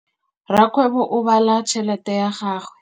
Rakgwêbô o bala tšheletê ya gagwe.